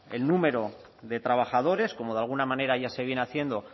el número de trabajadores como de alguna manera ya se viene haciendo